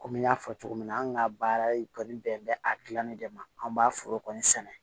Komi n y'a fɔ cogo min na an ka baara kɔni bɛn bɛ a gilanni de ma an b'a foro kɔni sɛnɛ